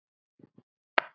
Opinber Vídeó